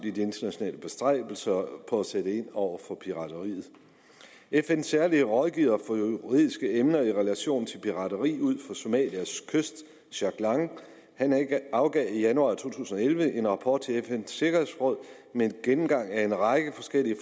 i de internationale bestræbelser på at sætte ind over for pirateri fns særlige juridiske rådgiver i relation til pirateri ud for somalias kyst jack lang afgav i januar to tusind og elleve en rapport til fns sikkerhedsråd med en gennemgang af en række forskellige